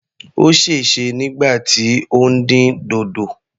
Ó sèse nígbà tí ó ń dín dòdò.